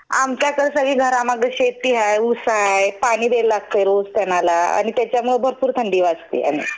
आमच्याकडं सगळी घरामागं शेती हाय, ऊस हाय, पाणी द्यायला लागतंय रोज त्यानाला आणि त्याच्यामुळं भरपूर थंडी वाजते.